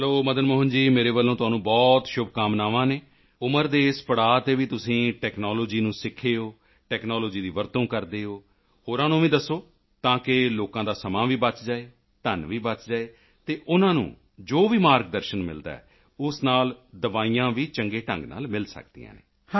ਚਲੋ ਮਦਨ ਮੋਹਨ ਜੀ ਮੇਰੇ ਵੱਲੋਂ ਤੁਹਾਨੂੰ ਬਹੁਤ ਸ਼ੁਭਕਾਮਨਾਵਾਂ ਹਨ ਉਮਰ ਦੇ ਇਸ ਪੜਾਅ ਤੇ ਵੀ ਤੁਸੀਂ ਟੈਕਨਾਲੋਜੀ ਨੂੰ ਸਿੱਖੇ ਹੋ ਟੈਕਨਾਲੋਜੀ ਦੀ ਵਰਤੋਂ ਕਰਦੇ ਹੋ ਹੋਰਾਂ ਨੂੰ ਵੀ ਦੱਸੋ ਤਾਂ ਕਿ ਲੋਕਾਂ ਦਾ ਸਮਾਂ ਵੀ ਬਚ ਜਾਵੇ ਧਨ ਵੀ ਬਚ ਜਾਵੇ ਅਤੇ ਉਨ੍ਹਾਂ ਨੂੰ ਜੋ ਵੀ ਮਾਰਗਦਰਸ਼ਨ ਮਿਲਦਾ ਹੈ ਉਸ ਨਾਲ ਦਵਾਈਆਂ ਵੀ ਚੰਗੇ ਢੰਗ ਨਾਲ ਮਿਲ ਸਕਦੀਆਂ ਹਨ